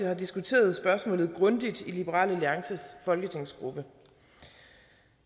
har diskuteret spørgsmålet grundigt i liberal alliances folketingsgruppe